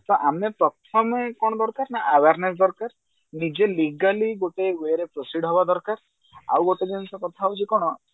ତ ଆମେ ପ୍ରଥମେ କଣ ଦରକାର ନା awareness ଦରକାର ନିଜେ legally ଗୋଟେ ଗୃହରେ proceed ହେବା ଦରକାର ଆଉ ଗୋଟେ ଜିନିଷ କଥା ହଉଛି କଣ